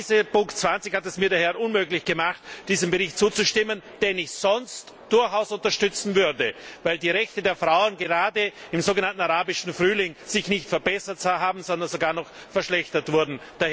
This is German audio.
Genau diese Ziffer 20 hat es mir daher unmöglich gemacht, diesem Bericht zuzustimmen, den ich sonst durchaus unterstützen würde, weil sich die Rechte der Frau gerade im so genannten Arabischen Frühling nicht verbessert haben, sondern sogar noch verschlechtert wurden.